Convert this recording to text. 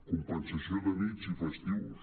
compensació de nits i festius